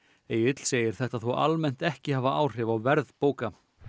Egill segir þetta þó almennt ekki hafa áhrif á verð bóka